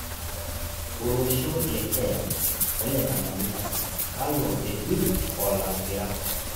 Olosho le keya ole Tanganyika kalo epirr olakira